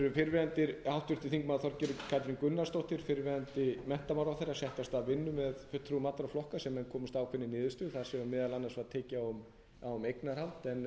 setti af stað vinnu með fulltrúum allra flokka þar sem menn komust að ákveðinni niðurstöðu þar sem meðal annars var tekist á um eignarhald en það náðist ekki